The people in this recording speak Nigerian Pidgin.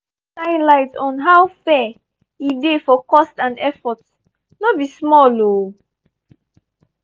i don shine light on how fair e dey for cost and effort no be small o!